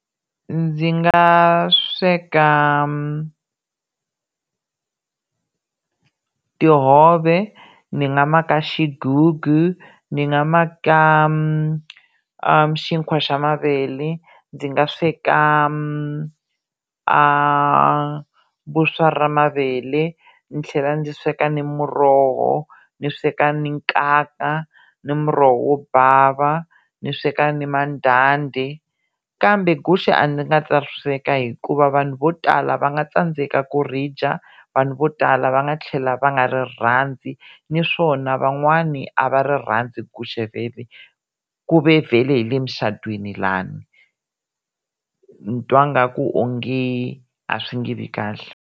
Ndzi nga sweka tihove, ni nga maka xigugu, ni nga maka xinkwa xa mavele, ndzi nga sweka a vuswa ra mavele, ndzi tlhela ndzi sweka ni muroho, ni sweka ni nkaka ni muroho wo bava ni sweka ni mandanda, kambe guxe a ndzi nga ta ri sweka hikuva vanhu vo tala va nga tsandzeka ku ri dya, vanhu vo tala va nga tlhela va nga ri rhandzi naswona van'wani a va ri rhandzu guxe vhele ku ve vhele hi le mucatwini lani ni twa nga ku onge a swi nge vi kahle.